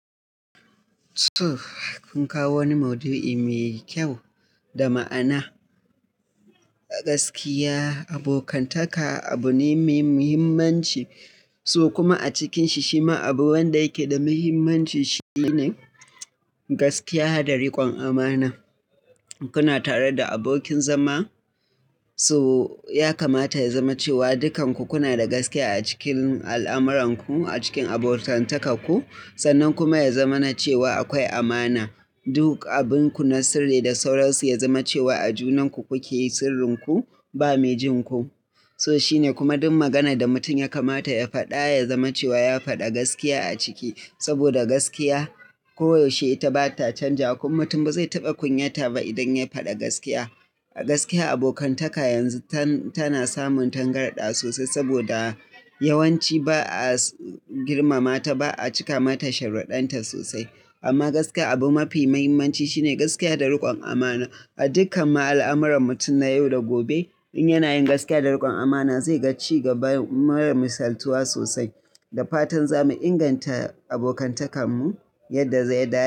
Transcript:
Tuh, kun kawo wani mudu'i me kyau, da ma'ana. A gaskiya, abokantaka abu ne mai muhimmanci, so kuma a cikin shi shima abu wanda yake da muhimmanci shine, gaskiya da rikon amana. Kuna tare da abokin zama, so, ya kamata ya zama cewa dukanku kuna da gaskiya a cikin al'amuranku, a cikin abokantakarku. Sannan kuma ya zama na cewa akwai amana. Duk, abinku na sirri da sauraysu ya zama cewa a junanku kuke sirrinku, ba me jin ku. So shine kuma duk maganar da mutum ya kamata ya faɗa, ya zama cewa ya faɗi gaskiya a ciki. Saboda gaskiya, koyaushe ita ba ta canja, kuma mutum ba zai taɓa kunyata ba idan ya faɗi gaskiya. A gaskiya abokantaka yanzu tana samun tangarada sosai saboda yawanci ba a girmama ta ba a cika mata sharuɗanta sosai. Amma gaskiya abu mafi muhimmanci, shine gaskiya da rikon amana. A dukkan ma 'alamuran mutum na yau da gobe, in yana yin gaskiya da rikon amana zai ga ci gaban marasa saltuwa sosai. Da fatan za mu inganta abokantakarmu, yadda za ya dace.